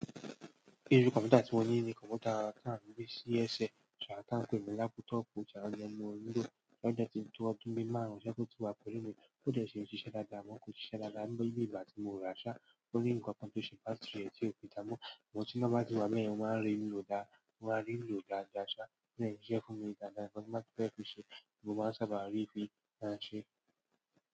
Irú kọmputa tí mo ní ni kọmputa tí a ń gbé sí ẹṣẹ, tí a pè ní laptop ohun dẹ̀ ni mo ń lò, ó dẹ̀ ti tó bí ọdún márùn tí o ti wà pẹ̀lú mi ó dẹ̀ sì ṣíṣe dáadáa, àmọ́ kò ṣiṣẹ́ dáadáa ní ìgbà tí mo rà á ṣá, ó ní nkankan tó ṣe battery ẹ̀ tí ó fi dáa dáámo. Ṣùgbọ́n tí iná bá ti wà bẹ́yẹn mo máa rí lò dáadáa ṣá, ó dè ṣíṣe fún mí dáadáa. Ǹkan tí mo báa fẹ́ fi ṣẹ́, mo máa sábà rí fí ṣẹ́ e.